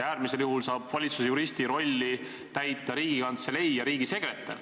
Äärmisel juhul saavad valitsuse juristi rolli täita Riigikantselei ja riigisekretär.